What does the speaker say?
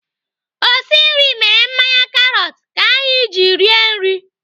Osi nri mere mmanya karọt ka anyị ji rie nri.